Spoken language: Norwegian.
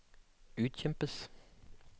utkjempes